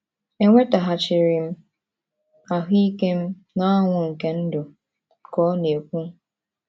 “ Enwetaghachiri m ahụ́ ike m na ọṅụ nke ndụ, ” ka ọ na - ekwu.